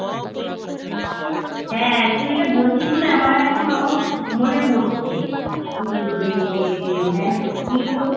হ্যাঁ, তুই এটা বলছিস বলে আমার এখনো মনে পড়ছে উম যে হ্যাঁ সত্যিই তো